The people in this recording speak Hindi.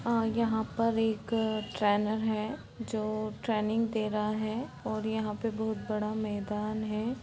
और यहाँ पर एक ट्रेनर है जो ट्रेनिंग दे रहा है और यहाँ पे बहुत बड़ा मैदान है।